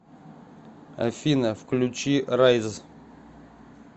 афина включи райз